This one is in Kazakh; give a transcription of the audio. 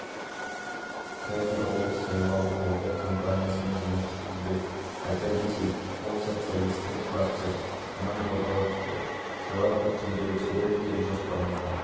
бұл туралы елисей сарайында мануэль вальстің отставкаға кеткенінен кейін хабарланды вальстің айтуынша ол президенттікке сайлану үшін